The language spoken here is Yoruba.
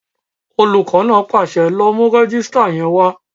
Olùkọ́ náà pàṣẹ, "lọ mú rẹ́jísítà yẹn wá!"